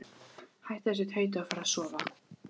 Hættu þessu tauti og farðu að sofa.